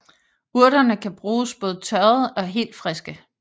Urterne kan bruges både tørrede og helt friske